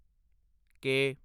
ਕੇ